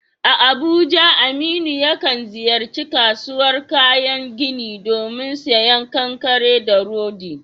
A Abuja, Aminu yakan ziyarci kasuwar kayan gini domin sayen kankare da rodi.